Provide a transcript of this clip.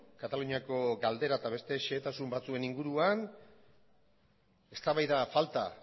kataluniako galdera eta beste xehetasun batzuen inguruan eztabaida falta